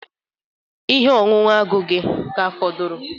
Ihe ọṅụṅụ agụ agụ gị ka fọdụrụ?